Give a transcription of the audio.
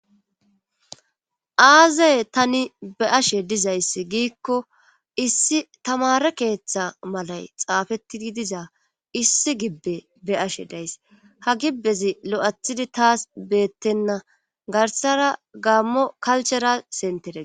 Aazey tani be ashe dizayss giikko issi tamare keeththa malay xaafettii diza issi gibbe be ashe days ha gibbezi lo7athidi taas beettenna garsara gaammo kalchera sentede